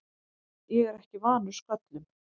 Ég er ekki vanur sköllum.